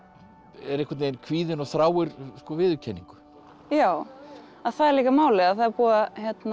er einhvern veginn kvíðin og þráir viðurkenningu já það er líka málið að það er búið að